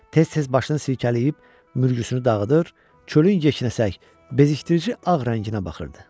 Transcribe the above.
Tez-tez başını silkələyib mürgüsünü dağıdır, çölün yeknəsəq bezikdirici ağ rənginə baxırdı.